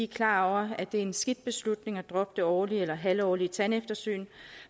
klar over at det er en skidt beslutning at droppe det årlige eller halvårlige tandeftersyn